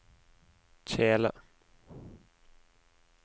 kjele